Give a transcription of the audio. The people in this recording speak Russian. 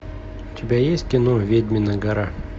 у тебя есть кино ведьмина гора